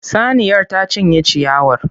Saniyar ta cinye ciyawar.